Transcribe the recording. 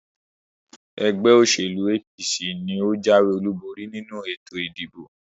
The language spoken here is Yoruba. ẹgbẹ́-òsèlú APC ni ó jáwé-olúborí nínú ètò ìdìbò.